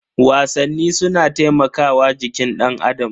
Wasanni suna taimakawa jikin danAdam.